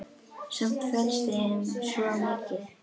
Samt felst í þeim svo mikið.